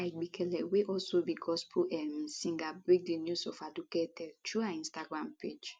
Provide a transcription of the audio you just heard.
esther igbekele wey also be gospel um singer break di news ofaduke deaththrough her instagram page